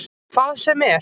Hvað sem er?